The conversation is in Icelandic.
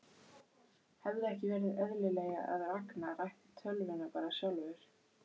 Hefði ekki verið eðlilegra að Ragnar ætti tölvuna bara sjálfur?